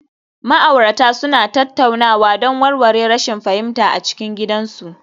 Ma'aurata suna tattaunawa don warware rashin fahimta a cikin gidajensu